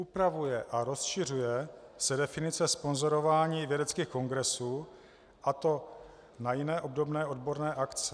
Upravuje a rozšiřuje se definice sponzorování vědeckých kongresů, a to na jiné obdobné odborné akce.